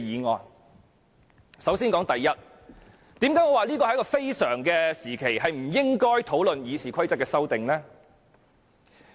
為何我會說不應在此非常時期討論對《議事規則》的修訂？